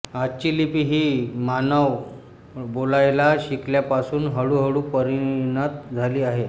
आजची लिपी ही मानव बोलायला शिकल्यापासून हळूहळू परिणत झाली आहे